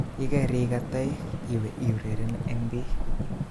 Yekerikat toek iwe iureren eng bii